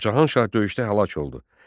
Cahan Şah döyüşdə həlak oldu.